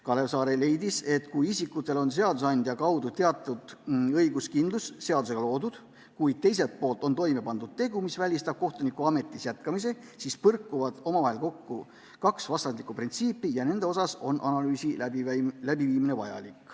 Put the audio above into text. Kalev Saare leidis, et kui isikutel on seadusandja kaudu loodud teatud õiguskindlus, kuid teiselt poolt on toime pandud tegu, mis välistab kohtunikuametis jätkamise, siis põrkuvad omavahel kaks vastandlikku printsiipi ja nende osas on vajalik analüüsi läbiviimine.